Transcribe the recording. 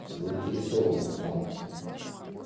заинтересована в том